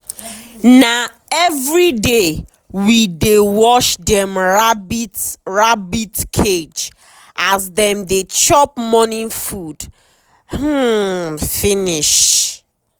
na everyday we dey wash dem rabbit rabbit cage as dem dey chop morning food um finish.